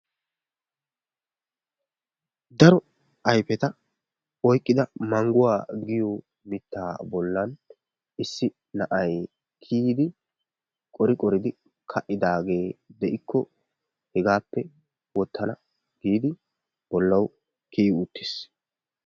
Daro ayfeta oykkida mangguwa giyo mittaa bollan issi na'ay kiyidi qori qoridi ka'idaagee de'ikko hegaappe wottana giidi bollawu kiyi uttiis.